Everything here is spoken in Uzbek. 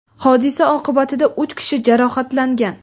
Hodisa oqibatida uch kishi jarohatlangan.